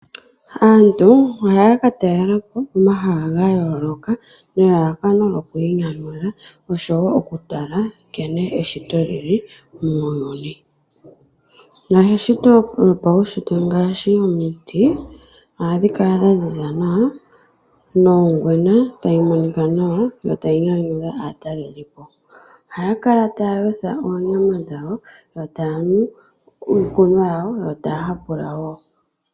Aantu ohaya ka talela po omahala ga yooloka nelalakano lyoku inyanyudha noshowo okutala nkene eshito li li muuyuni. Eshito ngaashi omiti ohadhi kala dha ziza nawa nongwena tayi monika nawa yo tayi nyanyudha aatalelipo. Ohaya kala taya yotha oonyama dhawo yo taya nu uukunwa wawo yo taya hapula wo.